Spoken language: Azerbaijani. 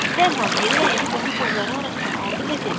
Dərhal yerə əyilib onu qolları arasına aldı və dedi.